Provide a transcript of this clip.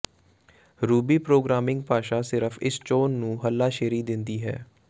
Ruby programming ਭਾਸ਼ਾ ਸਿਰਫ ਇਸ ਚੋਣ ਨੂੰ ਹੱਲਾਸ਼ੇਰੀ ਦਿੰਦੀ ਹੈ